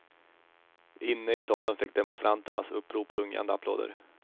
Inne i salen fick demonstranternas upprop rungande applåder.